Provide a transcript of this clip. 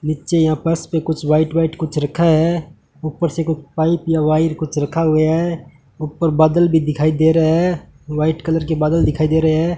नीचे आपस मे पर कुछ व्हाइट व्हाइट कुछ रखा है ऊपर से कुछ या वाइर कुछ रखा गया है ऊपर बादल भी दिखाई दे रहा है वाइट कलर के बादल दिखाई दे रहे हैं।